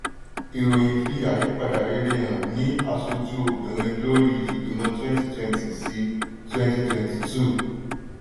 ìròyìn fi àyípadà rere hàn ní aṣojú obìnrin lórí ìgbìmọ̀ twenty twenty sí twenty twenty two